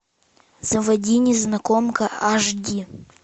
заводи незнакомка аш ди